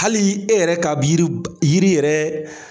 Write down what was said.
Hali e yɛrɛ k'a bi yiri ba i yiri yɛrɛ